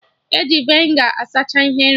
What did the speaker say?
E ji vinegar asacha ihe nri